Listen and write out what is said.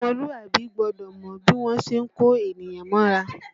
Ọmọlúàbí gbọ́dọ̀ mọ bí wọ́n ṣe ń kó ènìyàn mọ́ra